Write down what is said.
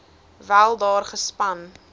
wel daar gespan